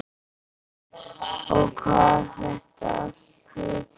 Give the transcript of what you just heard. Og hvað þetta allt heitir.